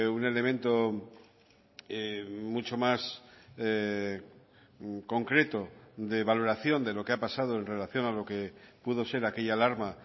un elemento mucho más concreto de valoración de lo que ha pasado en relación a lo que pudo ser aquella alarma